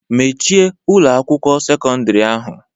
Mechie Ụlọ akwụkwọ sekọndrị ahụ!